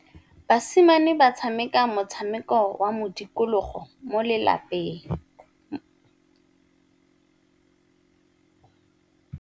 Basimane ba tshameka motshameko wa modikologô mo lebaleng.